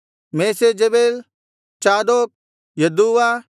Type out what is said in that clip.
ಮೆಷೇಜಬೇಲ್ ಚಾದೋಕ್ ಯದ್ದೂವ